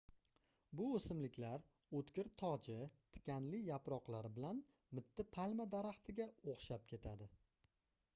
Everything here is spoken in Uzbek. bu oʻsimliklar oʻtkir toji tikanli yaproqlari bilan mitti palma daraxtiga oʻxshab ketadi